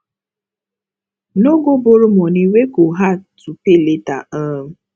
no go borrow money wey go hard to pay later um